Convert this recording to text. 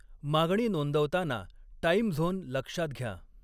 मागणी नोंदवताना time zone लक्षात घ्या